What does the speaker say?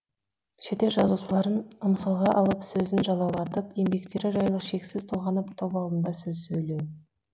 шетел жазушыларын мысалға алып сөзін жалаулатып еңбектері жайлы шексіз толғанып топ алдында сөз сөйлеу